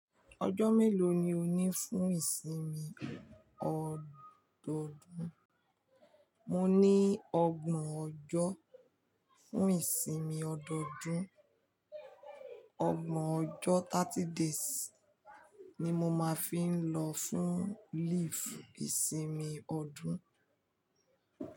Ọjọ́ mélòó ni o ní fún ìsinmi ọdọọdún? Mo ní ọgbọ̀n ọjọ́ fún ìsinmi ọdọọdún. Ọgbọ̀n ọjọ́, thirty days ni mo máa fi ń lọ fún leave ìsinmi ọdún.